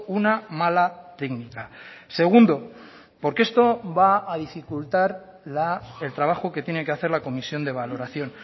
una mala técnica segundo porque esto va a dificultar el trabajo que tiene que hacer la comisión de valoración